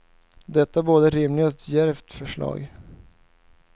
Det är ett både rimligt och djärvt förslag.